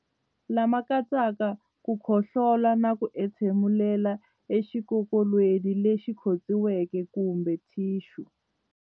Lama katsaka ku khohlola na ku entshemulela exikokolweni lexi khotsiweke kumbe thixu.